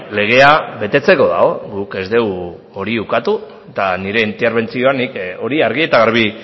legea betetzeko dago guk ez dugu hori ukatu eta nire interbentzioan nik hori argi eta garbi